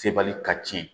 Sebali ka tiɲɛ